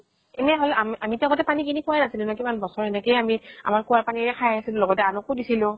এনেই হʼলে আমি আমি তো আগতে পানী কিনি খোৱা ৱে নাছিলো ন, কিমান বছৰ এনেকেই আমি আমাৰ কোঁৱা পানী ৰে খাই আছিলো আৰু লগতে আনকো দিছিলো ।